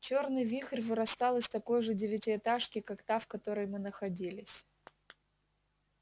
чёрный вихрь вырастал из такой же девятиэтажки как та в которой мы находились